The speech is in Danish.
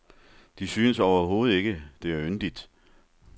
De synes overhovedet ikke, det er yndigt.